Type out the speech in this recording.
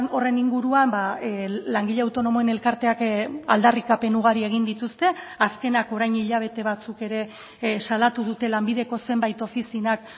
horren inguruan langile autonomoen elkarteak aldarrikapen ugari egin dituzte azkenak orain hilabete batzuk ere salatu dute lanbideko zenbait ofizinak